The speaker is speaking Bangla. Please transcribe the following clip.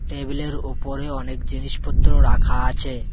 টেবিলের উপরে অনেক জিনিসপত্র রাখা আছে।